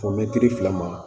Fɔ mɛtiri fila ma